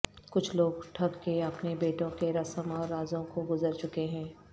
کچھ لوگ ٹھگ کے اپنے بیٹوں کے رسم اور رازوں کو گزر چکے ہیں